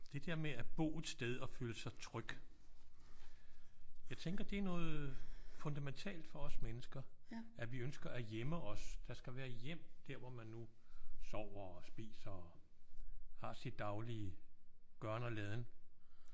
Det der med at bo et sted og føle sig tryg. Jeg tænker det er noget fundamentalt for os mennesker. At vi ønsker at hjemme os. Der skal være hjem der hvor man nu sover og spiser og har sit daglige gøren og laden